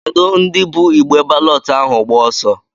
Kedụ ndị bụ igbe balọtụ ahụ agba ọsọ?